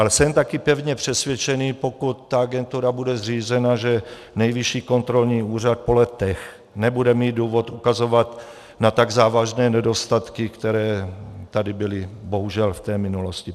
Ale jsem taky pevně přesvědčený, pokud ta agentura bude zřízena, že Nejvyšší kontrolní úřad po letech nebude mít důvod ukazovat na tak závažné nedostatky, které tady byly bohužel v té minulosti.